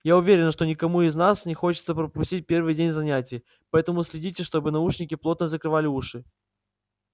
я уверена что никому из вас не хочется пропустить первый день занятий поэтому следите чтобы наушники плотно закрывали уши